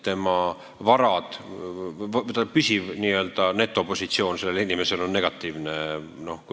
Tema n-ö püsiv netopositsioon on negatiivne.